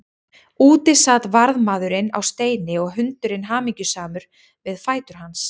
Úti sat varðmaðurinn á steini og hundurinn hamingjusamur við fætur hans.